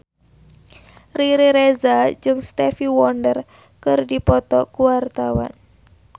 Riri Reza jeung Stevie Wonder keur dipoto ku wartawan